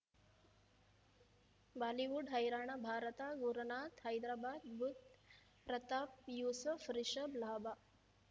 Bollywood ಹೈರಾಣ ಭಾರತ ಗುರುನಾಥ ಹೈದರಾಬಾದ್ ಬುಧ್ ಪ್ರತಾಪ್ ಯೂಸುಫ್ ರಿಷಬ್ ಲಾಭ